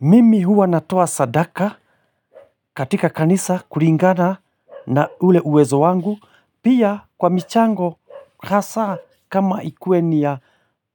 Mimi huwa natoa sadaka katika kanisa kulingana na ule uwezo wangu pia kwa michango kasa kama ikuwe ni ya